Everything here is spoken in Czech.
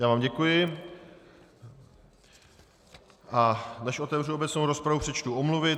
Já vám děkuji, a než otevřu obecnou rozpravu, přečtu omluvy.